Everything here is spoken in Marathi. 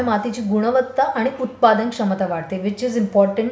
त्यामुळे मातीची गुणवत्ता आणि उत्पादंक्षमता वाढते विच इज इम्पॉर्टंट.